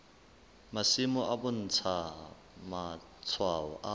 masimo e bontsha matshwao a